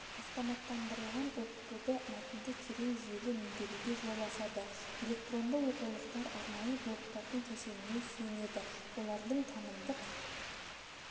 автоматтандырылған оқытуды мәтінді терең жүйелі меңгеруге жол ашады электронды оқулықтар арнайы блоктардың кешеніне сүйенеді олардың танымдық